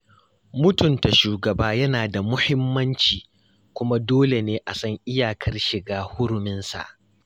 Mutunta shugaba yana da mahimmanci, kuma dole ne a san iyakar shiga huruminsa.